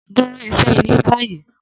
Duro iṣẹ ile ni bayi!